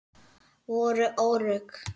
Voru örugg.